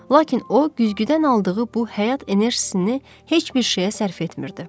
Lakin o güzgüdən aldığı bu həyat enerjisini heç bir şeyə sərf etmirdi.